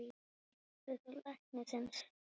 Fórstu til læknis?